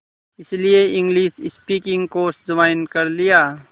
इसलिए English speaking course join कर लिया